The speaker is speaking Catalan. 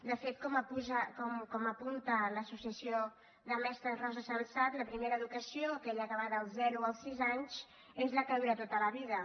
de fet com apunta l’associació de mestres rosa sensat la primera educació aquella que va dels zero als sis anys és la que dura tota la vida